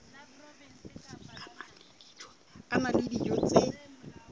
a na le dijo tse